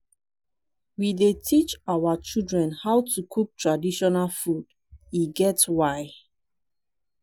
we dey teach our children how to cook traditional food e get why.